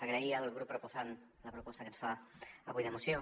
agrair al grup proposant la proposta que ens fa avui de moció